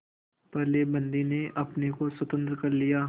पहले बंदी ने अपने को स्वतंत्र कर लिया